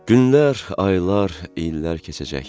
Günlər, aylar, illər keçəcək.